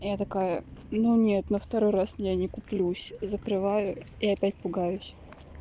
я такая ну нет на второй раз я не куплюсь закрываю и опять пугаюсь